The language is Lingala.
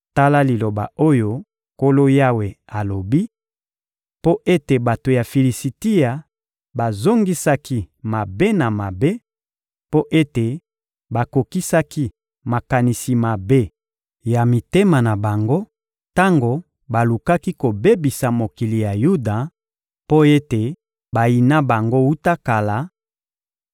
Tala liloba oyo Nkolo Yawe alobi: ‹Mpo ete bato ya Filisitia bazongisaki mabe na mabe, mpo ete bakokisaki makanisi mabe ya mitema na bango tango balukaki kobebisa mokili ya Yuda, mpo ete bayina bango wuta kala;